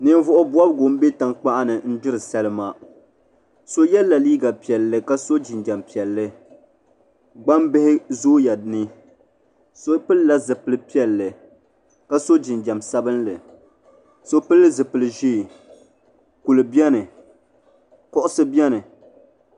Ninvuɣu bobgu n bɛ tankpaɣu ni n gbiri salima so yɛla liiga piɛlli ka so jinjɛm piɛlli gbambihi zooya ni so pilla zipili piɛlli ka so jinjɛm sabinli so pili zipili ʒiɛ tihi biɛni kuɣusi biɛni